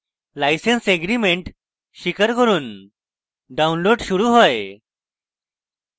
license agreement স্বীকার করুন downloading শুরু হয়